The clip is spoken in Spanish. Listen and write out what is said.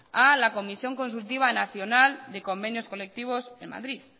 a la comisión consultiva nacional de convenios colectivos en madrid